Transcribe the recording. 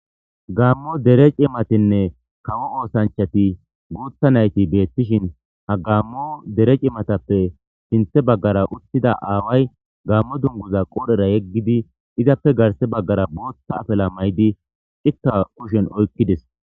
Gaammo dere cimatinne kawo oosanchati guutha nayti beettishin ha gammo dere cimatappe sinthe baggara uttida aaway gaammo dunguza qoodhera yeggidi izappe garse baggara boothta afila mayidi cikka kushen oykkides.